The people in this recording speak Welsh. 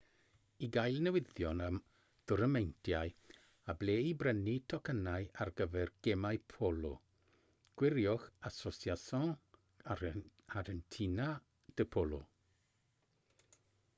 i gael newyddion am dwrnameintiau a ble i brynu tocynnau ar gyfer gemau polo gwiriwch asociacion argentina de polo